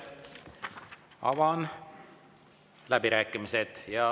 Avan läbirääkimised.